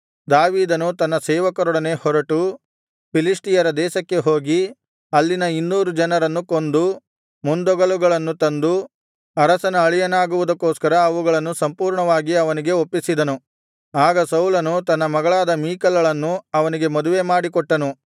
ದಾವೀದನು ತನ್ನ ಸೇವಕರೊಡನೆ ಹೊರಟು ಫಿಲಿಷ್ಟಿಯರ ದೇಶಕ್ಕೆ ಹೋಗಿ ಅಲ್ಲಿನ ಇನ್ನೂರು ಜನರನ್ನು ಕೊಂದು ಮುಂದೊಗಲುಗಳನ್ನು ತಂದು ಅರಸನ ಅಳಿಯನಾಗುವುದಕ್ಕೋಸ್ಕರ ಅವುಗಳನ್ನು ಪೂರ್ಣವಾಗಿ ಅವನಿಗೆ ಒಪ್ಪಿಸಿದನು ಆಗ ಸೌಲನು ತನ್ನ ಮಗಳಾದ ಮೀಕಲಳನ್ನು ಅವನಿಗೆ ಮದುವೆಮಾಡಿಕೊಟ್ಟನು